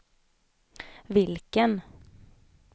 vilken